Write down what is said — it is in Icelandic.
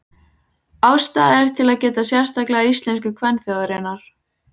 Ástæða er til að geta sérstaklega íslensku kvenþjóðarinnar.